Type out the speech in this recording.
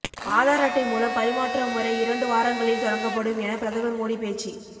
ஆதார் அட்டை மூலம் பரிமாற்ற முறை இரண்டு வாரங்களில் தொடங்கப்படும் என பிரதமர் மோடி பேச்சு